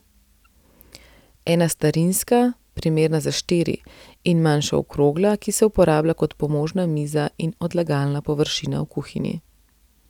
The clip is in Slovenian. Ena starinska, primerna za štiri, in manjša okrogla, ki se uporablja kot pomožna miza in odlagalna površina v kuhinji.